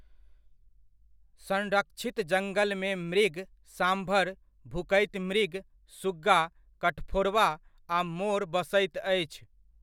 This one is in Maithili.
संरक्षित जङ्गलमे मृग, साँभर, भुकैत मृग, सुग्गा, कठफोड़वा, आ मोर बसैत अछि।